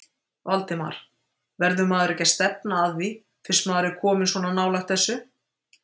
Valdimar: Verður maður ekki að stefna að því fyrst maður er kominn svona nálægt þessu?